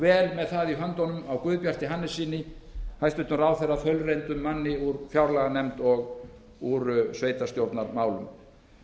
vel með það í höndunum á guðbjarti hannessyni hæstvirtur ráðherra þaulreyndum manni úr fjárlaganefnd og úr sveitarstjórnarmálum